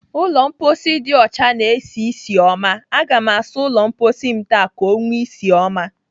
Ụlọ mposi dị ọchana-esi ísì ọma. Aga m asa ụlọ mposi m taa ka ọ nwee isi ọma.